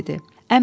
və dedi: